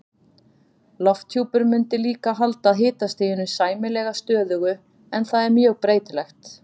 Lofthjúpur mundi líka halda hitastiginu sæmilega stöðugu en það er mjög breytilegt.